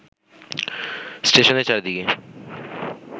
স্টেশনের চারিদিকে